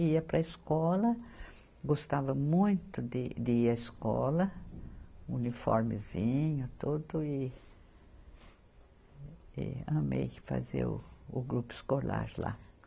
Ia para a escola, gostava muito de, de ir à escola, uniformezinho tudo e, e amei fazer o grupo escolar lá.